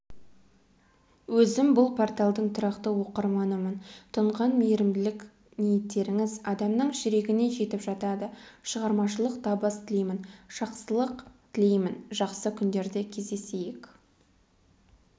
өзім бұл порталдың тұрақты оқырманымын тұнған мейірімділік ниеттеріңіз адамның жүрегіне жетіп жатады шығармашылық табыс тілеймін жақсылық тілеймін жақсы күндерде кездесейік